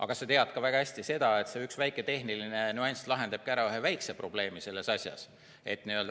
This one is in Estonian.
Aga sa tead ka väga hästi seda, et see üks väike tehniline nüanss lahendabki ära ühe väikse probleemi selles asjas.